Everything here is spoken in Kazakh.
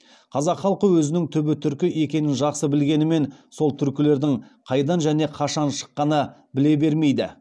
қазақ халқы өзінің түбі түркі екенін жақсы білгенімен сол түркілердің қайдан және қашан шыққаны біле бермейді